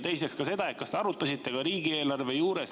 Teiseks see, kas te arutasite ka riigieelarve juures …